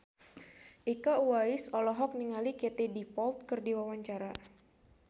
Iko Uwais olohok ningali Katie Dippold keur diwawancara